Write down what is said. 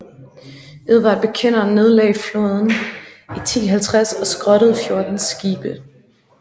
Edvard Bekenderen nedlagde flåden i 1050 og skrottede 14 skibe